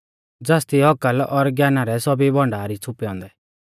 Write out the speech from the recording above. ज़ासदी औकल और ज्ञाना रै सौभी भण्डार ई छ़ुपै औन्दै